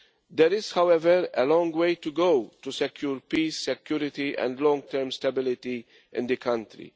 There is, however, a long way to go to secure peace, security and long term stability in the country.